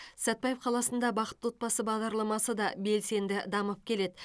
сәтпаев қаласында бақытты отбасы бағдарламасы да белсенді дамып келеді